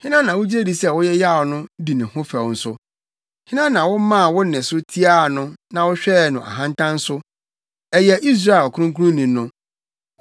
Hena na wugye di sɛ woyeyaw no, di ne ho fɛw nso? Hena na womaa wo nne so tiaa no na wohwɛɛ no ahantan so? Ɛyɛ Israel ɔkronkronni no!